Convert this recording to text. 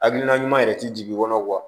Hakilina ɲuman yɛrɛ tɛ jigin i kɔnɔ